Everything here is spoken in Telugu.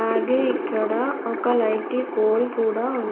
అలాగే ఇక్కడ ఒక లైటీ పోల్ కూడా ఉం--